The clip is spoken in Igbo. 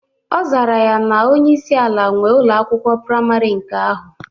Ọ zara ya na onyeisi ala nwee Ụlọ akwụkwọ praịmarị nke ahụ.